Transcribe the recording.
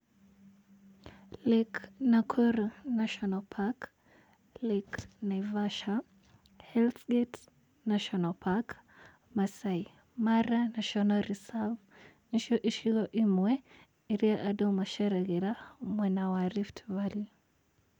Lake Nakuru National Park, Lake Naivasha, Hells Gate National park, Maasai Mara National Reserve, nĩ cio icigo imwe, iria andũ maceragĩra mwena wa Rift Valley.